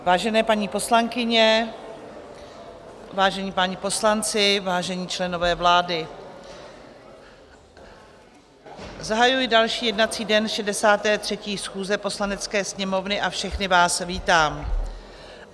Vážené paní poslankyně, vážení páni poslanci, vážení členové vlády, zahajuji další jednací den 63. schůze Poslanecké sněmovny a všechny vás vítám.